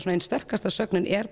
ein sterkasta sögnin er